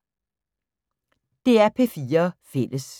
DR P4 Fælles